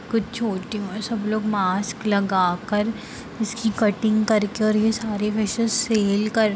कुछ छोटे और सब लोग मास्क लगा कर इसकी कटिंग करके और ये सारे फिशेस सेल कर रहे है ।